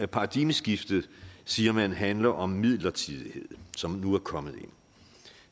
paradigmeskiftet siger man handler om midlertidighed som nu er kommet ind